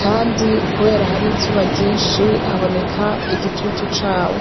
kandi, kubera hari izuba ryinshi, haboneka igitutu cawo.